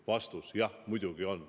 Vastus: jah, muidugi on.